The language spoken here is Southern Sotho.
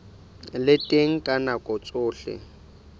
le teng ka nako tsohle